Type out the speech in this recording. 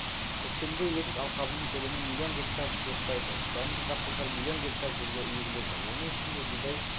көктемгі егіс алқабының көлемі миллион гектар жуықтайды дәнді дақылдар миллион гектар жерге егіледі оның ішінде бидай